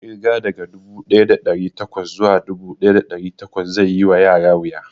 Ƙirga daga dubu ɗaya da ɗari bakwai zuwa dubu ɗaya da ɗari takwas zai yi wa yara wuya